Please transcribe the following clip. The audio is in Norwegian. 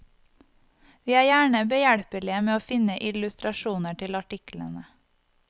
Vi er gjerne behjelpelige med å finne illustrasjoner til artiklene.